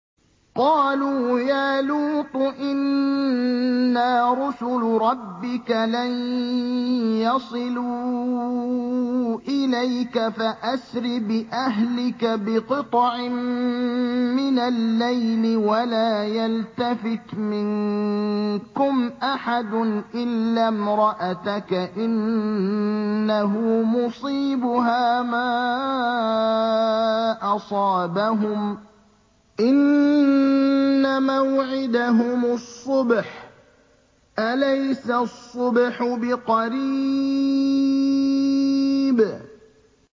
قَالُوا يَا لُوطُ إِنَّا رُسُلُ رَبِّكَ لَن يَصِلُوا إِلَيْكَ ۖ فَأَسْرِ بِأَهْلِكَ بِقِطْعٍ مِّنَ اللَّيْلِ وَلَا يَلْتَفِتْ مِنكُمْ أَحَدٌ إِلَّا امْرَأَتَكَ ۖ إِنَّهُ مُصِيبُهَا مَا أَصَابَهُمْ ۚ إِنَّ مَوْعِدَهُمُ الصُّبْحُ ۚ أَلَيْسَ الصُّبْحُ بِقَرِيبٍ